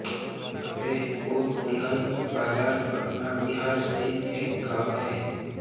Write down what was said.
फतेहपुर दुल्हिनबाजार पटना बिहार स्थित एक गाँव है